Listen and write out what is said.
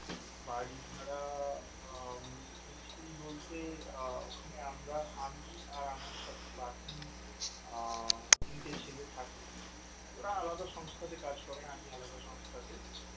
বাড়ি ভাড়া নিয়েছি বলতে, আহ ওখানে আমরা আমি আর আমার সাথে বাকি আ তিনটে ছেলে থাকে ওরা আলাদা সংস্থা তে কাজ করে আমি আলাদা সংস্থা তে